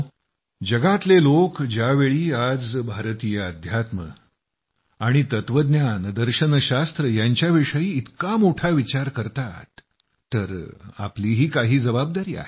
दुनियेतले लोक ज्यावेळी आज भारतीय अध्यात्म आणि तत्वज्ञान यांच्याविषयी इतका मोठा विचार करतात तर आपलीही काही जबाबदारी आहे